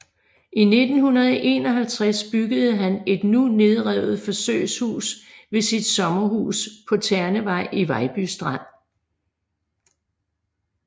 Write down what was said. I 1951 byggede han et nu nedrevet forsøgshus ved sit sommerhus på Ternevej i Vejby Strand